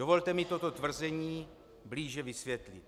Dovolte mi toto tvrzení blíže vysvětlit.